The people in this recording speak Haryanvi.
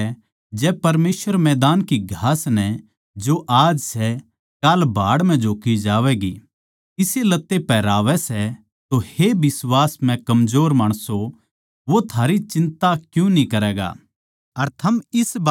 इस करकै जै परमेसवर मैदान की घास नै जो आज सै अर काल भाड़ म्ह झोक्की जावैगी इसे लत्तें पहरावै सै तो हे बिश्वास म्ह कमजोर माणसों वो थारी चिन्ता क्यूँ न्ही करैगा